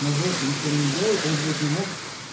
на жопе нихуя не делает он блядь не мог